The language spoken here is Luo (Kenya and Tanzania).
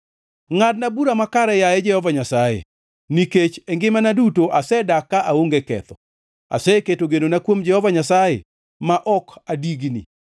Ngʼadna bura makare, yaye Jehova Nyasaye, nikech e ngimana duto asedak ka aonge ketho; aseketo genona kuom Jehova Nyasaye ma ok adigni.